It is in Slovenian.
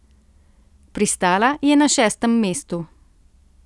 Pristala je na šestem mestu.